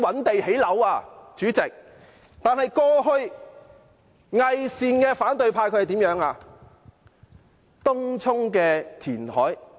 但是，代理主席，過去偽善的反對派怎樣做？